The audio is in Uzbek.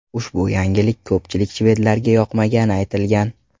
Ushbu yangilik ko‘pchilik shvedlarga yoqmagani aytilgan.